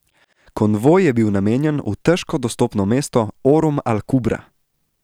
Konvoj je bil namenjen v težko dostopno mesto Orum al Kubra.